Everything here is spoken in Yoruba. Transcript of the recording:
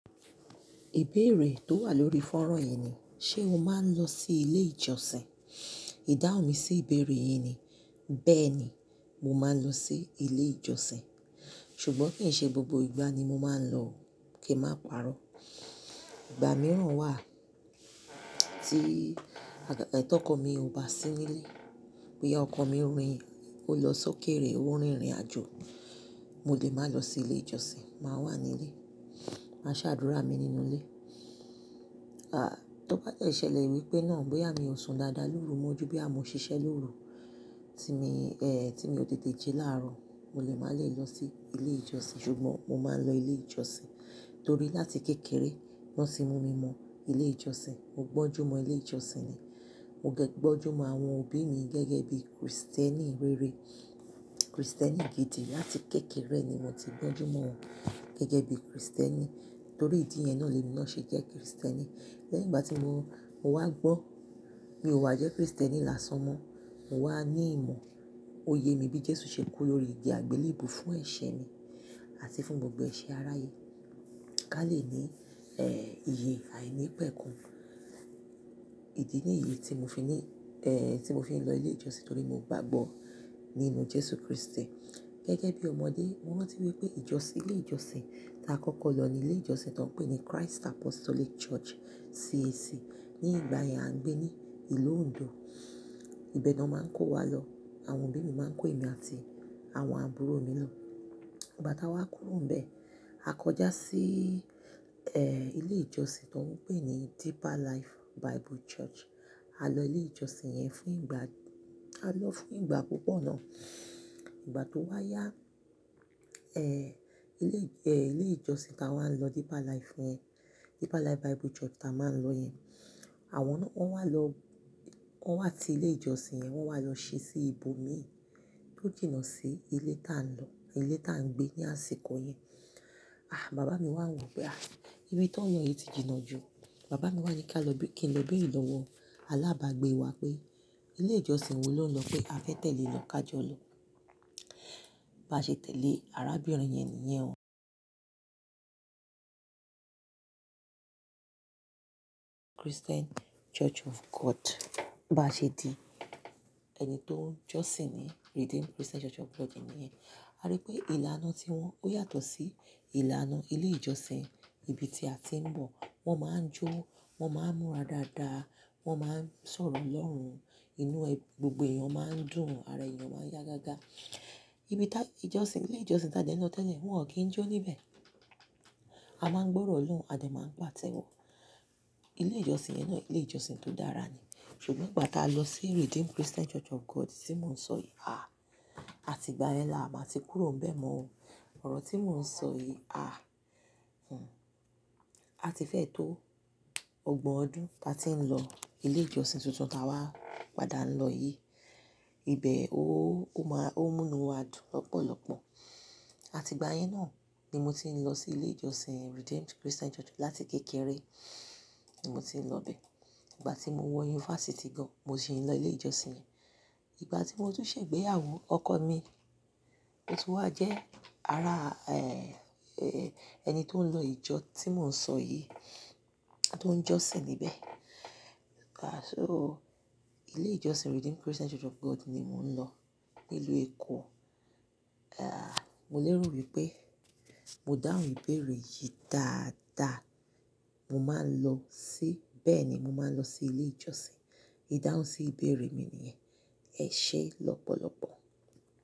Ìbéèrè tó wà lórí fanran yìí ni, ṣe o máa ń lọ sí ilé ìjọsìn? Ìdáhùn mi sí ìbéèrè yìí ni, bẹ́ẹ̀ ni, mo máa ń lọ sí ilé ìjọsìn. Ṣùgbọ́n kì í ṣe gbogbo ìgbà ni mo máa ń lọ o, kí n máa pàrọ́. Ìgbà mìíràn wà tí, ti ọ́kọ̀ mi ò bá sí nílé, bóyá ọkọ̀ mi rin, ó lọ sókèèrè, ó rin ìrìnàjò, mo lè máa lọ sí ilé ìjọsìn, màá wà nílé, màá ṣè adúrà mi nínú ilé. À, tó bá de ṣẹ̀lẹ̀ wípé náà, bóyá mi ò sùn dáadáa lóru, mọ́ jú bí àmọ́ ṣiṣẹ́ lóru, tí mi, eh, tí mi ò tètè jí láàárọ̀, mo lè má lè lọ sí ilé ìjọsìn. Ṣùgbọ́n mo máa ń lọ ilé ìjọsìn torí láti kékeré wọ́n tì mú mi mọ ilé ìjọsìn. Mo gbọ́njúmọ̀n ilé ìjọsìn ni. Mo dẹ́ gbọ́njúmọ̀n àwọn òbí mi gẹ́gẹ́ bí Kristẹni rere, Kristẹni gidi. Láti kékeré ni mo ti gbọ́njúmọ̀n wọn gẹ́gẹ́ bí Kristẹni. Torí ìdí yẹn náà ni emi naa ṣé jẹ́ Kristẹni. Lẹ́yìn ìgbà tí mo, mo wá gbọ́n mi ò wa jẹ́ Kristẹni lásán mọ́n, mo wá ní ìmọ̀, òye mi bí Jésù ṣe kú lórí igi àgbélèbú fún ẹ̀ṣẹ̀ mi àti fún gbogbo ẹ̀ṣẹ̀ aráyé. Ká lè ní, eh, iye àìnípẹ̀kun. Ìdí nìyí tí mo fi ní, eh, tí mo fi ń lọ ilé ìjọsìn torí mo gbàgbọ́ nínú Jésù Kristì. Gẹ́gẹ́ bí ọmọdé, mo rántí wípé ìjọsìn, ilé ìjọsìn ta kọ́kọ́ lọ ni ilé ìjọsìn tó ń pè ní Christ Apostolic Church, CAC. Ní ìgbà yẹn a ń gbé ní ìlú Ogun Ìbẹ náà máa ń kó wa lọ. Àwọn òbí mi máa ń kó èmi àti àwọn àbúrò mi lọ. Ìgbà tá a wá kúrò níbẹ̀, a kọjá sí, eh, ilé ìjọsìn tań pè ní Deeper Life Bible Church. A lọ ilé ìjọsìn yẹn fún ìgbà, a lọ fún ìgbà púpọ̀ náà. Ìgbà tó wá yá, eh, ilé, eh, ilé ìjọsìn tá wa n máa ń lọ Deeper Life yẹn, Deeper Life Bible Church tá a máa ń lọ yẹn, àwọn náà wọ́n wá lọ, wọ́n wá ti ilé ìjọsìn yẹn, wọ́n wá lọ ṣe sí ibòmíì tó jìnnà sí ilé tá a lọ, ilé tá a ń gbé ní àsìkò yẹn. Ah, bàbá mi wà ń rò pé, "Ah, ibi tó ń yọ̀ yìí ti jìnnà jù." Bàbá mi wà ní kí á lọ bí, kí n lọ bẹ ìlọ̀wọ̀ alágbàgbé wa pé ilé ìjọsìn wo ló ń lọ pe a fẹ́ tẹ̀lé won ká jọ lọ. Bá ṣe tẹ̀lé arábìnrin yẹn nìyẹn ó Christian Church of God. Bá ṣe di ẹni tó ń jọ́sìn ní Redeemed Christian Church of God níyẹn. A rí pé ìlànà tí wọ́n, ó yàtọ̀ sí ìlànà ilé ìjọsìn ibi tí a ti ń bọ̀. Wọ́n máa ń jó, wọ́n máa ń múra dáadáa, wọ́n máa ń sọ̀rọ̀ Olọ́rùn. Inú ẹ, gbogbo èèyàn máa ń dùn, ara èèyàn máa ń yá gágá. Ibi tá n jọsìn, ilé ìjọsìn tá a ń de lọ tẹ́lẹ̀, wọ́n ò kí ń jó níbẹ̀. A máa ń gbọ́ orọ́ Olórùn, a dè máa ń pátẹ́wọ́. Ilé ìjọsìn yẹn náà ilé ìjọsìn tó dára ni. Ṣùgbọ́n ìgbà tá a lọ sí Redeemed Christian Church of God tí mò ń sọ yìí, ah, àti ìgbà yẹn la à máa ti kúrò níbẹ̀ mọ́n o Ọ̀rọ̀ tí mò ń sọ yìí, ah, hmm, à ti fẹ́ tó ọgbọ̀n ọdún tá a ti ń lọ ilé ìjọsìn tuntun tá a wá padà ń lọ yìí. Ìbẹ̀ ó, ó máa, ó ń múnu wa dùn lọ́pọ̀lọpọ̀. Àti ìgbà yẹn náà ni mo ti ń lọ sí ilé ìjọsìn Redeemed Christian Church. Láti kékeré ni mo ti ń lọ ibẹ̀. Ìgbà tí mo wọ yunifásítì gan, mo ṣì ń lọ ilé ìjọsìn yẹn. Ìgbà tí mo tún ṣẹ̀ ìgbéyàwó, ọkọ mi ò tún wá jẹ́ ara, eh, ẹni tó ń lọ ìjọ tí mò ń sọ yìí, tó ń jọ́sìn níbẹ̀. Ah, so ilé ìjọsìn Redeemed Christian Church of God ni mò ń lọ nílùú Èkó. Ah, mo lè rò wípé mo dáhùn ìbéèrè yìí dáadáa. Mo máa ń lọ sí, bẹ́ẹ̀ ni, mo máa ń lọ sí ilé ìjọsìn. Ìdáhùn sí ìbéèrè mi nìyẹn. Ẹ ṣé lọ́pọ̀lọpọ̀.